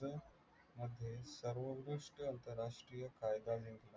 मध्ये सर्वोत्कृष्ट अंतरराष्ट्रीय फायदा